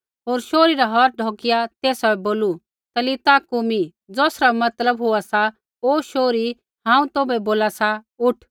होर शोहरी रा हौथ ढौकिया तेसा बै बोलू तलीता कूमी ज़ौसरा मतलब होआ सा ओ शोहरी हांऊँ तौभै बोला सा उठ